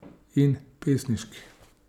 In pesniški.